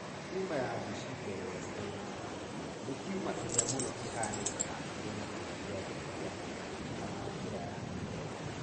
Tuma ya Buschke Lowenstein tumor nĩ tuma ĩrĩa mũno ĩhanĩkaga hakuhĩ na kĩga gĩa thiri kĩa mũndũrũme kana njĩra ya kĩoro